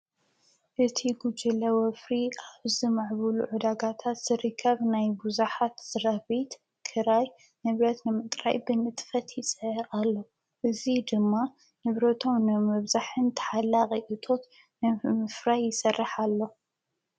እቲ ጉጅለ ወፍሪ ኣብዚ ምዕቡል ዕዳጋታት ዝርከብ ናይ ቡዙሓት ዝረህቢት ክራይ ንብረት ንምጥራይ ብንጥፈት ይጽዕር ኣሎ እዚ ድማ ንብሮቶም ንምብዛሕን ተሓላቒ እቶት ንምፍራይ ይሠርሕ ኣሎ።